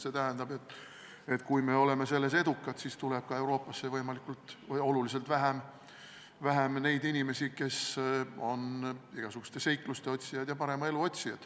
See tähendab, et kui me oleme selles edukad, siis tuleb Euroopasse oluliselt vähem neid inimesi, kes on igasuguste seikluste otsijad ja parema elu otsijad.